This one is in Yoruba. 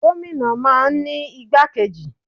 Gómìnà máa ń ní igbákejì.